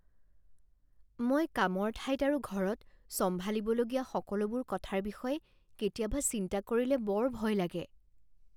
মই কামৰ ঠাইত আৰু ঘৰত চম্ভালিবলগীয়া সকলোবোৰ কথাৰ বিষয়ে কেতিয়াবা চিন্তা কৰিলে বৰ ভয় লাগে।